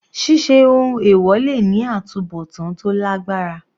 Ṣíṣe ohun èwọ̀ le ní àtubọ̀tán tó lágbára.